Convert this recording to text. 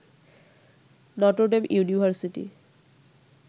Notre Dame university